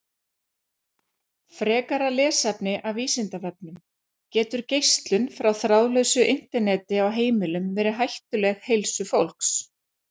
Frekara lesefni af Vísindavefnum: Getur geislun frá þráðlausu Interneti á heimilum verið hættuleg heilsu fólks?